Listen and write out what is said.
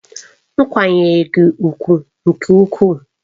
M kwanyere gi ugwu nke ukwuu.